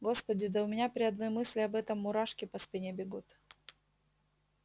господи да у меня при одной мысли об этом мурашки по спине бегут